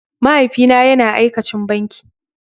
mahaifi na yana aikacin banki.